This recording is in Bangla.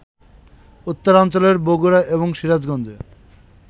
উত্তরাঞ্চলের বগুড়া এবং সিরাজগঞ্জে